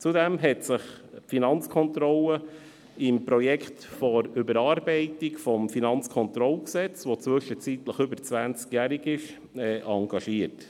Zudem engagierte sich die Finanzkontrolle im Projekt zur Überarbeitung des Gesetzes über die Finanzkontrolle (Kantonales Finanzkontrollgesetz, KFKG), welches inzwischen über zwanzigjährig ist.